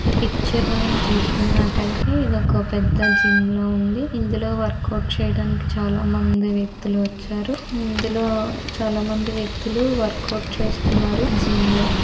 ఈ పిక్చర్ మనం చూస్తున్నటయితే ఎదో ఒక పెద్ద జిమ్ లా ఉంది. ఇందులో వర్కౌట్ చేయడానికి చాలా మంది వ్యక్తులు వచ్చారు. ఇందులో చాలామంది వ్యక్తులు వర్కౌట్ చేస్తున్నారు జిమ్ లో.